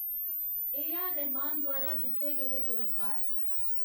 ए.आर.रहमान द्वारा जित्ते गेदे पुरस्कार